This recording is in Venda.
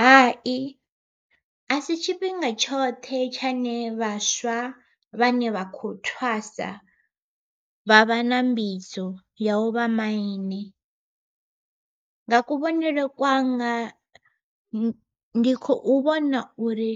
Hai a si tshifhinga tshoṱhe tshane vhaswa vhane vha khou thwasa, vha vha na mbidzo ya u vha maine. Nga kuvhonele kwanga ndi khou vhona uri